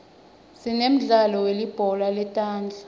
sinemdlalo welibhola letandza